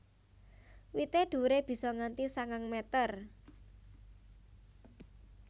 Wité dhuwuré bisa nganti sangang meter